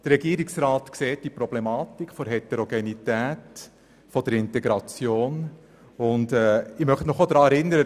Der Regierungsrat sieht die Problematik der Heterogenität dieser Kinder sowie die Notwendigkeit der Integration.